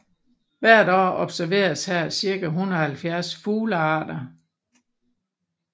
Hvert år observeres her cirka 170 fuglearter